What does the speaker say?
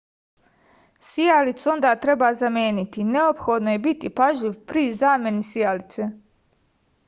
sijalicu onda treba zameniti neophodno je biti pažljiv pri zameni sijalice